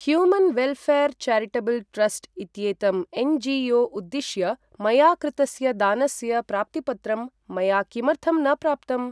Human वेल्ऴेर् charitable trust इत्येतं NGO. उद्दिश्य मया कृतस्य दानस्य प्राप्तिपत्रं मया किमर्थं न प्राप्तम्?